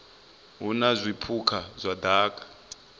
hu na zwipuka zwa daka